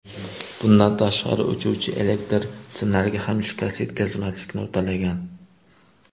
Bundan tashqari, uchuvchi elektr simlariga ham shikast yetkazmaslikni uddalagan.